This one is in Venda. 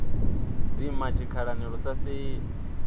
dzima tshikhalani lu sa fheli